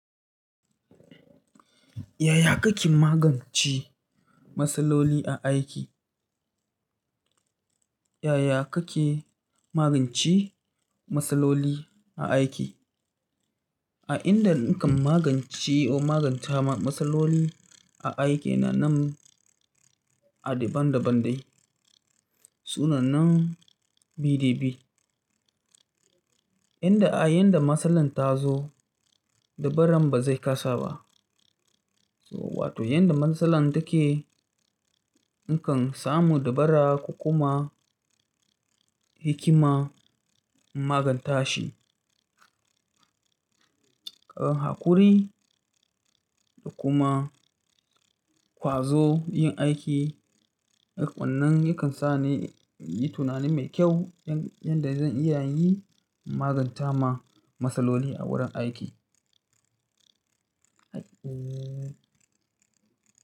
Yaya kake magance matsaloli a aiki? Yaya kake magance matsaloli a aiki? A inda nakan magance ko maganta matsaloli a aiki na nan a daban daban dai. Sunan nan BDB. Inda a yadda matsalar ta zo, dabaran ba zai kasa ba. Wato yadda matsalar take, nakan samu dabara kuma hikima in maganta shi. Ƙagan hakuri da kuma ƙwazo yin aiki, wannan yakan sa ni yi tunani mai kyau yanda zan iya yin maganta ma matsaloli a wurin aiki.